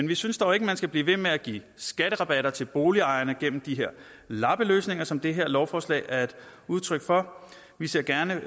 vi synes dog ikke man skal blive ved med at give skatterabatter til boligejerne gennem de her lappeløsninger som det her lovforslag er et udtryk for vi ser gerne